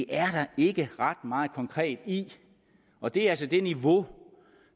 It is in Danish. er der ikke ret meget konkret i og det er altså det niveau